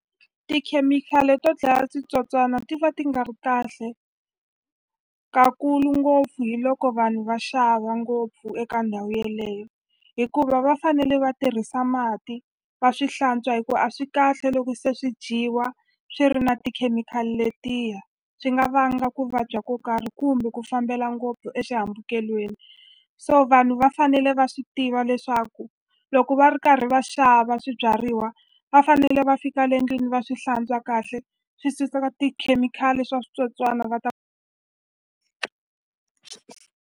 Tikhemikhali to dlaya switsotswana ti va ti nga ri kahle ka kulu ngopfu hi loko vanhu va xava ngopfu eka ndhawu yeleyo hikuva va fanele va tirhisa mati va swi hlantswa hi ku a swi kahle loko se swi dyiwa swi ri na tikhemikhali letiya swi nga vanga ku vabya ko karhi kumbe ku fambela ngopfu exihambukelweni so vanhu va fanele va swi tiva leswaku loko va ri karhi va xava swibyariwa va fanele va fika le endlwini va swi hlantswa kahle swi suka tikhemikhali swa switsotswana va .